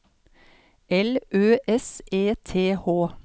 L Ø S E T H